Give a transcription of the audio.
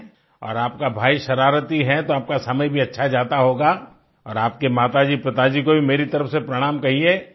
हैं और आपका भाई शरारती है तो आपका समय भी अच्छा जाता होगा और आपके माताजीपिताजी को भी मेरी तरफ से प्रणाम कहिये